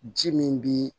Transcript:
Ji min bi